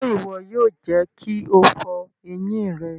Ṣe iwọ yoo jẹ ki o fọ eyin rẹ!